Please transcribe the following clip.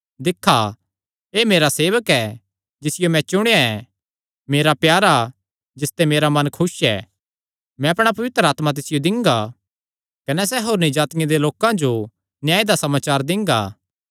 दिक्खा एह़ मेरा सेवक ऐ जिसियो मैं चुणेया ऐ मेरा प्यारा जिसते मेरा मन खुस ऐ मैं अपणा पवित्र आत्मा तिसियो दिंगा कने सैह़ होरनी जातिआं दे लोकां जो न्याय दा समाचार दिंगा